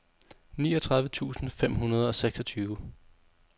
niogtredive tusind fem hundrede og seksogtyve